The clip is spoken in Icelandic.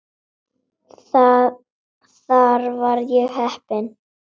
Þar var ég heppinn